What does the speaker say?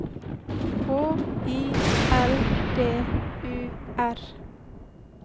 H I L D U R